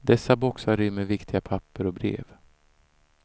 Dessa boxar rymmer viktiga papper och brev.